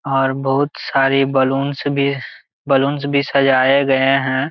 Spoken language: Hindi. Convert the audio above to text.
और बहुत सारे बलून्स भी बलून्स भी सजायें गए है।